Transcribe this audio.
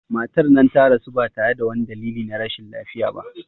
Matar nan ta rasu ba tare da wani dalili na rashin lafiya ba